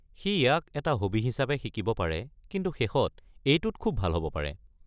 সি ইয়াক এটা হবি হিচাপে শিকিব পাৰে, কিন্তু শেষত এইটোত খুব ভাল হ'ব পাৰে।